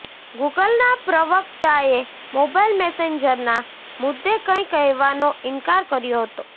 ગૂગલના પ્રવક્તાએ મોબાઇલ મેસેન્જરના મુદ્દે કંઈ કહેવાનો ઇનકાર કર્યો હતો